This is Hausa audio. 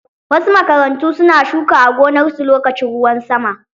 Wasu makarantu su na shuka a gonarsu lokacin ruwan sama.